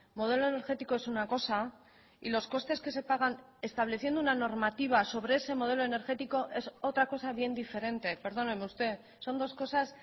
modelo energético es una cosa y los costes que se pagan estableciendo una normativa sobre ese modelo energético es otra cosa bien diferente perdóneme usted son dos cosas